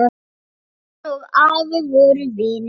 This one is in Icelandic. Sjórinn og afi voru vinir.